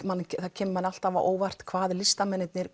kemur manni alltaf á óvart hvað listamennirnir